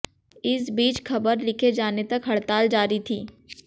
इस बीच खबर लिखे जाने तक हड़ताल जारी थी